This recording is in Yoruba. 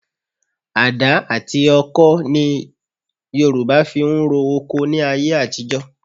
Adá àti ọkọh ti Yorùbá fi ń ro oko ní ayé àtijọ́